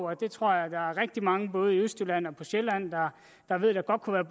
og det tror jeg der er rigtig mange både i østjylland og på sjælland der ved at der godt kunne